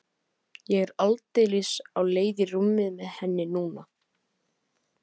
Ég er aldeilis á leið í rúmið með henni núna.